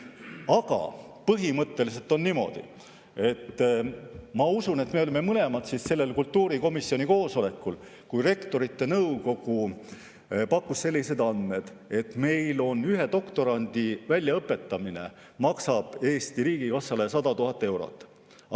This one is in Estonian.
Aga ma usun, et me olime mõlemad sellel kultuurikomisjoni koosolekul, kus Rektorite Nõukogu pakkus selliseid andmeid, et ühe doktorandi väljaõpetamine maksab Eesti riigikassale 100 000 eurot.